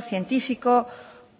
científico